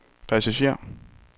passager